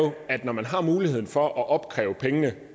at når man har muligheden for at opkræve pengene